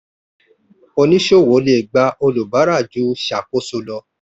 oníṣòwò le gba olùbárà ju ṣàkóso lọ.